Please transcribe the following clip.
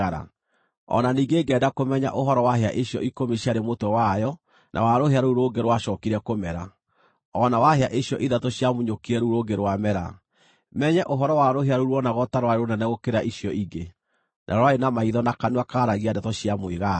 O na ningĩ ngĩenda kũmenya ũhoro wa hĩa icio ikũmi ciarĩ mũtwe wayo na wa rũhĩa rũu rũngĩ rwacookire kũmera, o na wa hĩa icio ithatũ ciamunyũkire rũu rũngĩ rwamera, menye ũhoro wa rũhĩa rũu ruonagwo ta rwarĩ rũnene gũkĩra icio ingĩ, na rwarĩ na maitho na kanua kaaragia ndeto cia mwĩgaatho.